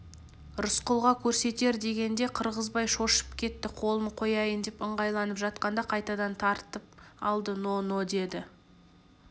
рысқұлға көрсетер дегенде қырғызбай шошып кетті қолын қояйын деп ыңғайланып жатқанда қайтадан тартып алды но-но деді